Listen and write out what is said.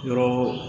Yɔrɔ